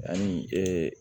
Ani